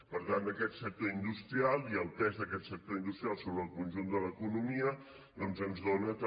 per tant aquest sector industrial i el pes d’aquest sector industrial sobre el conjunt de l’economia doncs ens dona també